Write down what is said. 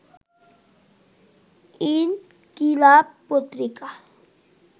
ইনকিলাব পত্রিকা